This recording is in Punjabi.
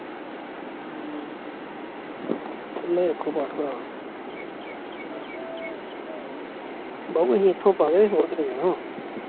ਬਾਊ ਐਥੋਂ ਪਾਲੇ, ਹੋਰ ਕਿਥੇ ਜਾਣਾ